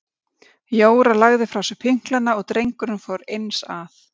Jóra lagði frá sér pinklana og drengurinn fór eins að.